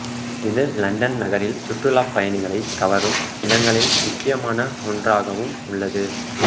இது இலண்டன் நகரில் சுற்றுலாப் பயணிகளைக் கவரும் இடங்களில் முக்கியமான ஒன்றாகவும் உள்ளது